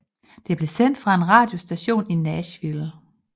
Det blev sendt fra en radiostation i Nashville